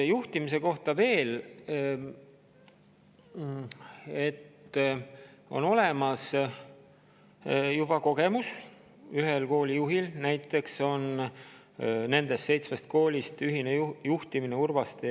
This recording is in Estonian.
Juhtimise kohta veel seda, et ühel koolijuhil nendest seitsmest on juba ühise juhtimise kogemus olemas.